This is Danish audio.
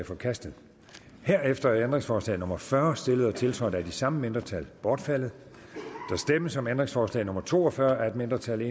forkastet herefter er ændringsforslag nummer fyrre stillet og tiltrådt af de samme mindretal bortfaldet der stemmes om ændringsforslag nummer to og fyrre af et mindretal